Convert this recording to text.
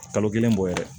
Kalo kelen bɔ yɛrɛ